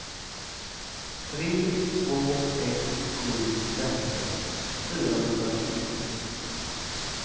tre två ett sju femton fyrahundrafyrtiotvå